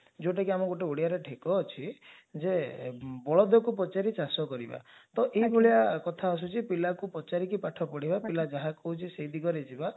ଯାଉଟା କି ଆମ ଓଡିଆରେ ଗୋଟେ ଢେଗ ଅଛି ଯେ ବୌଧକୁ ପଚାରି ଚାଷ କରିବା ତ ଏଭଳିଆ କଥା ଆସୁଛି ଯେ ପିଲକୁ ପଚାରିକି ପାଠ ପଢିବା ପିଲା ଯାହା କହୁଛି ସେ ଦିଗରେ ଯିବା